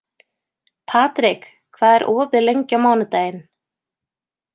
Patrik, hvað er opið lengi á mánudaginn?